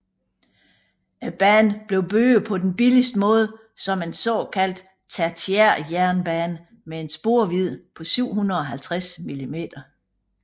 Banen blev bygget på den billigste måde som en såkaldt tertiærjernbane med en sporvidde på 750 mm